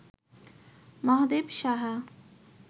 Mahadev Saha